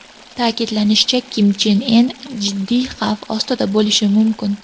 Ta’kidlanishicha, Kim Chen In jiddiy xavf ostida bo‘lishi mumkin.